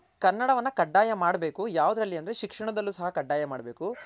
ಕನ್ನಡವನ್ನ ಕಡ್ಡಾಯ ಮಾಡ್ಬೇಕು ಯಾವ್ದ್ರಲ್ಲಿ ಅಂದ್ರೆ ಶಿಕ್ಷಣದಲ್ಲು ಸಹ ಕಾಡ್ದಾಯ ಮಾಡ್ಬೇಕು